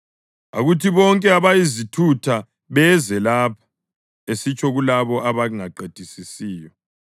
“Akuthi bonke abayizithutha beze lapha!” Esitsho kulabo abangaqedisisiyo.